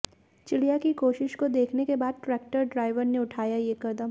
चिड़िया की कोशिश को देखने के बाद ट्रैक्टर ड्राइवर ने उठाया ये कदम